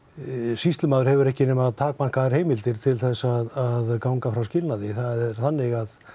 sýslumaður hefur ekki nema takmarkaðar heimildir til að ganga frá skilnaði það er þannig að